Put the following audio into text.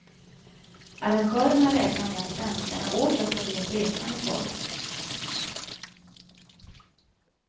Arrangörerna räknar med att svenskarna åter ska bli ett resande folk.